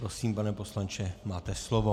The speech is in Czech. Prosím, pane poslanče, máte slovo.